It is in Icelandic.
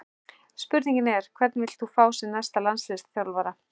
Spurningin er: Hvern vilt þú fá sem næsta landsliðsþjálfara?